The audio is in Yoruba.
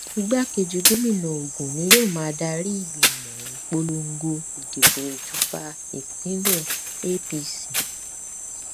igbákejì gómìnà ogun ni ni yóò darí ìgbìmọ ìpolongo ìdìbò ìjọba ìbílẹ apc